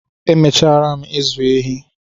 Emechara m ịzụ ehi